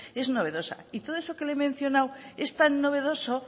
es novedosa y todo eso que le he mencionada es tan novedoso